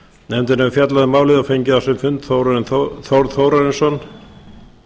nefndin hefur fjallað um málið og fengið á sinn fund þórð þórarinsson